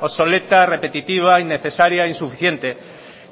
obsoleta repetitiva innecesaria insuficiente